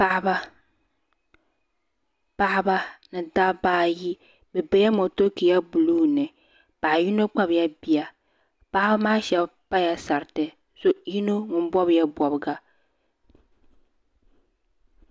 Paɣaba paɣaba ni dabba ayi bi bɛla motokiya buluu ni paɣi yino Kpabi ya bia paɣiba maa shɛba pala sariti yino ŋun bɔbi ya bɔbiga